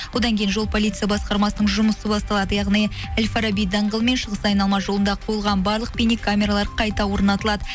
одан кейін жол полиция басқармасының жұмысы басталады яғни әл фараби даңғылы мен шығыс айналма жолында қойылған барлық бейнекамералар қайта орнатылады